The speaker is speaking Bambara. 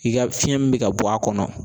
I ka fiɲɛ min bɛ ka bɔ a kɔnɔ